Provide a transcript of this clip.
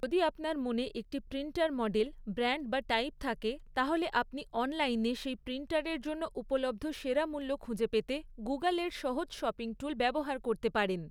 যদি আপনার মনে একটি প্রিন্টার মডেল, ব্র্যান্ড বা টাইপ থাকে, তাহলে আপনি অনলাইনে সেই প্রিন্টারের জন্য উপলব্ধ সেরা মূল্য খুঁজে পেতে গুগলের সহজ শপিং টুল ব্যবহার করতে পারেন।